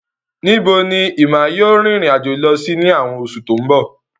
Níbo ni Emma yóò rìnrìn àjò lọ sí ní àwọn oṣù tó ń bọ̀?